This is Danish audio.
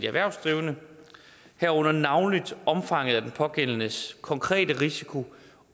erhvervsdrivende herunder navnlig omfanget af den pågældendes konkrete risiko